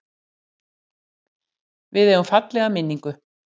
Við eigum fallega minningu.